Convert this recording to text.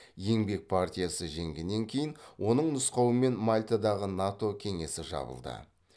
еңбек партиясы жеңгеннен кейін оның нұсқауымен мальтадағы нато кеңсесі жабылды